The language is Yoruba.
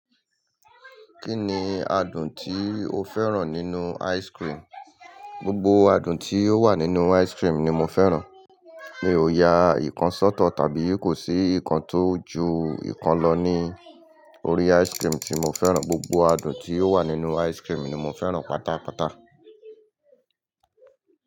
Kí ni adùn tí o fẹ́ràn nínú ice cream? Gbogbo adùn tí ó wà nínú ice cream ni mo fẹ́ràn. Mi ò ya ìkan sọ́tọ̀ tàbí kò sí ìkan tó ju ìkan lọ ní orí ice cream tí mo fẹ́ràn. Gbogbo adùn tí ó wà nínú ice cream ni mo fẹ́ràn pátápátá.